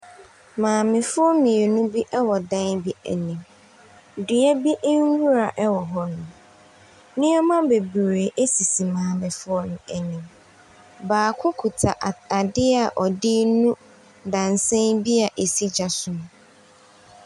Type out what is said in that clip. Maamefoɔ mmienu bi wɔ dan bi anim. Dua bi nwura wɔ hɔnom. Nneɛma bebree sisi maamefoɔ no anim. Baako kuta at adeɛ a ɔde renu dadesɛn bi a ɛsi gya so mu.